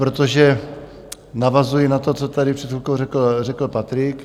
Protože navazuji na to, co tady před chvilkou řekl Patrik.